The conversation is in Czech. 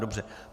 Dobře.